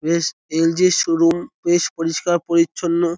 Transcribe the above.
বেশ L .G. -র showroom বেশ পরিষ্কার পরিচ্ছন্ন।